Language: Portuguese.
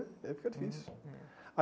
Aí fica difícil. Hum, é.